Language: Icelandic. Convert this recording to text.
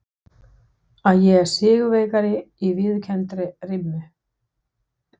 Að ég er sigurvegari í viðurkenndri rimmu.